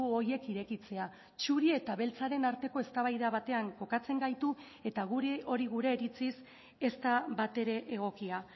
horiek irekitzea txuri eta beltzaren arteko eztabaida batean kokatzen gaitu eta guri hori gure iritziz ez da batere egokia